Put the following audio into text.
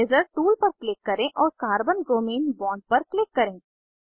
eraser tool पर click करें और कार्बन ब्रोमीन बॉन्ड पर क्लिक करें